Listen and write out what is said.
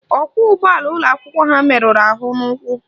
Ọkwọụgbọala ụlọakwụkwọ ha meruru ahụ n'ụkwụ